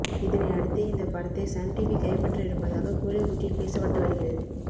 இதனை அடுத்தே இந்த படத்தை சன் டிவி கைப்பற்ற இருப்பதாக கோலிவுட்டில் பேசப்பட்டு வருகிறது